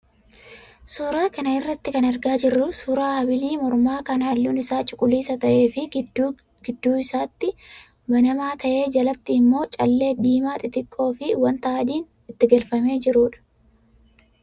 Suuraa kana irraa kan argaa jirru suuraa habilii mormaa kan halluun isaa cuquliisa ta'ee fi gidduu gidduu isaatti banamaa ta'ee jalatti immoo callee diimaa xixiqqoo fi wanta adiin itti galfamee jirudha.